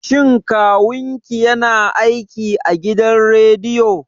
Shin Kawun ki ya na aiki a gidan rediyo?